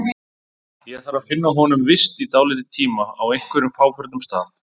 Ég þarf að finna honum vist í dálítinn tíma, á einhverjum fáförnum stað.